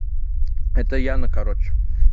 это яна короче